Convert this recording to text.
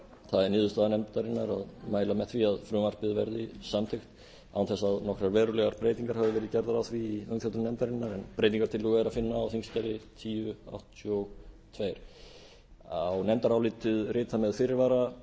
það er niðurstaða nefndarinnar að mæla með því að frumvarpið verði samþykkt án þess að nokkrar verulegar breytingar hafi verið gerðar á því í umfjöllun nefndarinnar en breytingartillögu er að finna á þingskjali þúsund og áttatíu og tvö á nefndarálitið rita með fyrirvara